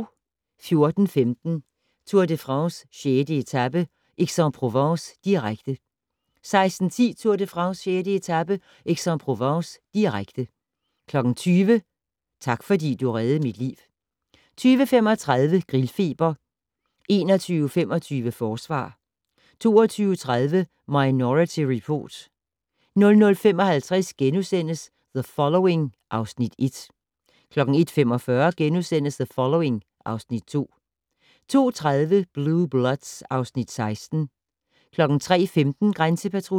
14:15: Tour de France: 6. etape - Aix-en-Provence, direkte 16:10: Tour de France: 6. etape - Aix-en-Provence, direkte 20:00: Tak fordi du reddede mit liv 20:35: Grillfeber 21:25: Forsvar 22:30: Minority Report 00:55: The Following (Afs. 1)* 01:45: The Following (Afs. 2)* 02:30: Blue Bloods (Afs. 16) 03:15: Grænsepatruljen